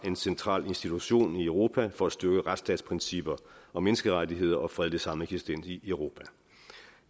en central institution i europa for at styrke retsstatsprincipper og menneskerettigheder og fredelig sameksistens i europa